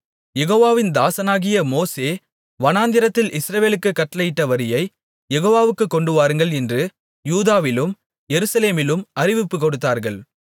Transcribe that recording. யெகோவாவின் தாசனாகிய மோசே வனாந்திரத்தில் இஸ்ரவேலுக்குக் கட்டளையிட்ட வரியைக் யெகோவாவுக்குக் கொண்டுவாருங்கள் என்று யூதாவிலும் எருசலேமிலும் அறிவிப்புக் கொடுத்தார்கள்